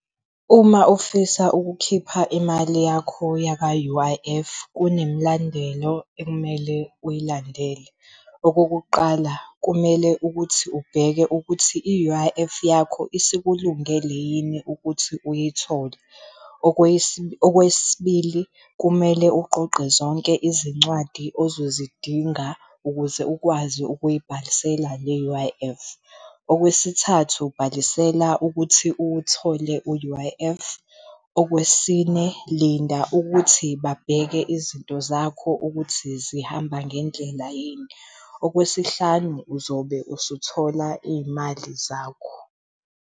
Uma ufisa ukukhipha imali yakho yaka-U_I_F kunemlandelo ekumele uyilandele. Okokuqala, kumele ukuthi ubheke ukuthi i-U_I_F yakho isikulungele yini ukuthi uyithole. Okwesibili, kumele uqoqe zonke izincwadi ozozidinga ukuze ukwazi ukubhalisela le U_I_F. Okwesithathu, ubhalisela ukuthi uwuthole u-U_I_F. Okwesine, linda ukuthi babheke izinto zakho ukuthi zihamba ngendlela yini. Okwesihlanu, uzobe usuthola iy'mali zakho.